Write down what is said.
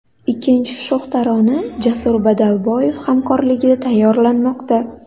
Ikkinchi sho‘x tarona Jasur Badalboyev hamkorligida tayyorlanmoqda.